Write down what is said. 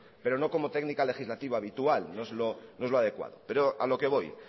pero no como técnica legislativa habitual no es lo adecuado pero a lo que voy